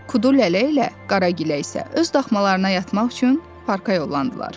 Kudu Lələ ilə Qara Gilə isə öz daxmalarına yatmaq üçün parka yollandılar.